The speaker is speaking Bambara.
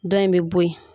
Dɔ in bɛ bɔ yen